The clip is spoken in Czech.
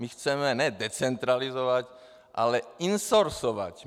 My chceme ne decentralizovat, ale insourceovat.